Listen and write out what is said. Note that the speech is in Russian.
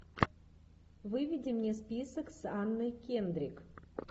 выведи мне список с анной кендрик